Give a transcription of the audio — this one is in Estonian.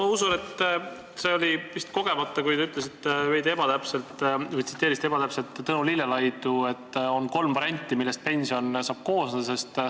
Ma usun, et see oli vist kogemata, kui te tsiteerisite veidi ebatäpselt Tõnu Lillelaidu, et on kolm varianti, millest pension saab koosneda.